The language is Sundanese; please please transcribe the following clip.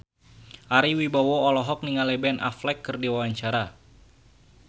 Ari Wibowo olohok ningali Ben Affleck keur diwawancara